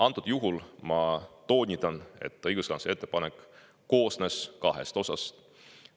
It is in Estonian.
Antud juhul ma toonitan, et õiguskantsleri ettepanek koosnes kahest osast.